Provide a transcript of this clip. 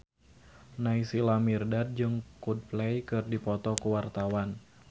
Naysila Mirdad jeung Coldplay keur dipoto ku wartawan